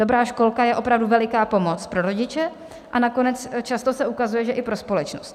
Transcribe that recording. Dobrá školka je opravdu veliká pomoc pro rodiče a nakonec se často ukazuje, že i pro společnost.